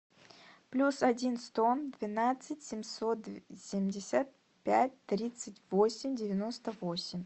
плюс один сто двенадцать семьсот семьдесят пять тридцать восемь девяносто восемь